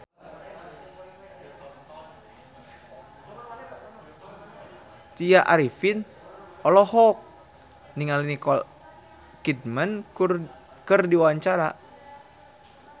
Tya Arifin olohok ningali Nicole Kidman keur diwawancara